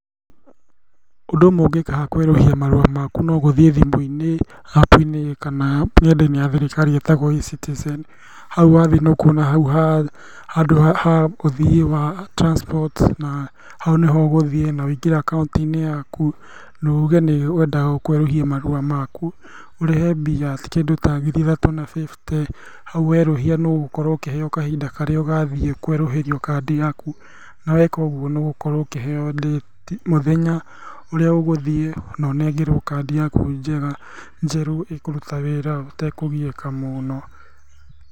Ũndũ ũmwe ũngĩka haha kwerũhia marũa maku nogũthiĩ thimũ-inĩ apu-inĩ kana nenda-inĩ ya thirikari ĩtagwo Ecitizen, hau wathiĩ nĩũkuona hau handũ ha ũthiĩ gwa transport na hau nĩho ũgũthiĩ, na wingĩre akaunti-inĩ yaku, na uge nĩ ũrenda kwerũhia marũa maku, ũrĩhe mbia, kĩndũ ta ngiri ithatũ na bĩbte, hau werũhia nĩũgũkorwo ũkĩheo kahinda karĩa ũgathiĩ kwerũhĩrio kandi yaku, naweka ũguo nĩũgũkorwo ũkĩheo ndĩti, mũthenya ũrĩa ũgũthiĩ ũnengerwo kandi yaku njega, njerũ ĩkũruta wĩra ũtekũgiĩka mũno.